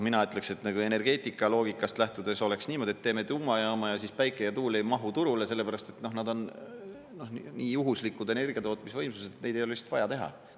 Mina ütleksin, et energeetika loogikast lähtudes oleks niimoodi, et teeme tuumajaama ja päike ja tuul ei mahu turule sellepärast, et nad on nii juhuslikud energiatootmisvõimsused, et neid ei ole lihtsalt vaja teha.